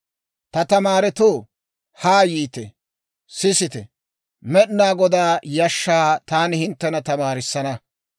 Ta tamaaretoo, haa yiite; sisite; Med'inaa Godaa yashshaa taani hinttena tamaarissana.